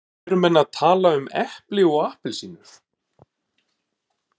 Eru menn að tala um epli og appelsínur?